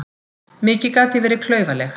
Mikið gat ég verið klaufaleg.